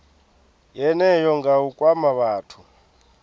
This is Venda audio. yeneyo nga u kwama vhathu